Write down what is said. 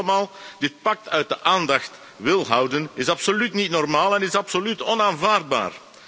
Dat u allemaal dit pact uit de aandacht wil houden, is absoluut niet normaal en is absoluut onaanvaardbaar.